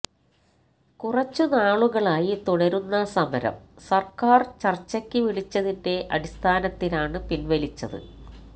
കുറച്ചു നാളുകളായി തുടരുന്ന സമരം സർക്കാർ ചർച്ചയ്ക്കു വിളിച്ചതിന്റെ അടിസ്ഥാനത്തിലാണ് പിൻവലിച്ചത്